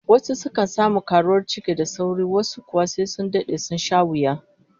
Wasu sukan samu karuwar ciki da sauri, wasu kuwa sai sun dade, sun sha wuya